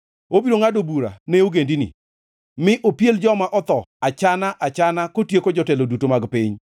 Obiro ngʼado bura ne ogendini, mi opiel joma otho achana-achana kotieko jotelo duto mag piny.